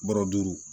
Bɔrɔ duuru